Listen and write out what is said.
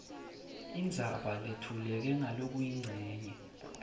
indzaba letfuleke ngalokuyincenye